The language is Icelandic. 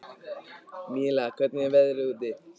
Míla, hvernig er veðrið úti?